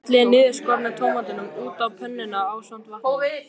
Hellið niðurskornu tómötunum út á pönnuna ásamt vatninu.